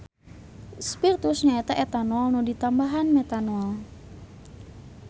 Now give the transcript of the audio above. Spirtus nyaeta etanol nu ditambahan metanol.